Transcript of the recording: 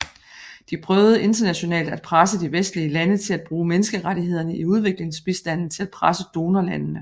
De prøvede internationalt at presse de vestlige lande til at bruge menneskerettighederne i udviklingsbistanden til at presse donorlandene